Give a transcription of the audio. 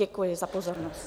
Děkuji za pozornost.